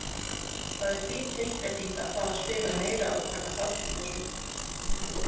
Það er fín tilbreyting að fá að spila meira og taka þátt í þessu.